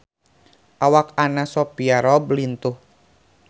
Awak Anna Sophia Robb lintuh